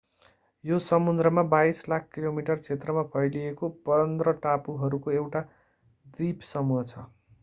यो समुद्रमा 22 लाख वर्ग किलोमिटर क्षेत्रमा फैलिएको 15 टापुहरूको एउटा द्वीपसमूह हो